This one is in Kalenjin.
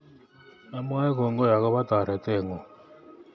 Amwoe kongoi akopo toreteng'ung'